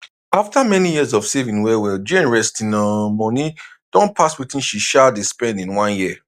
after many years of saving wellwell jane resting um money don pass wetin she um dey spend in one year